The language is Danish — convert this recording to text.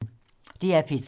DR P3